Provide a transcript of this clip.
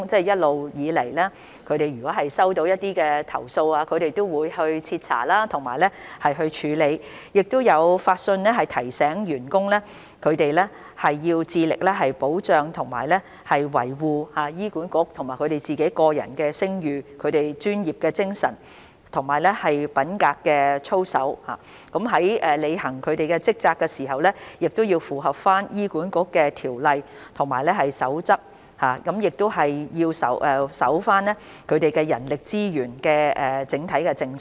一直以來，醫管局接獲投訴後均會徹查及處理，亦會發信提醒員工必須致力保障和維護醫管局及其個人的聲譽、專業形象及品格操守，員工在履行職責時要符合醫管局的規例和守則，亦須遵守人力資源的整體政策。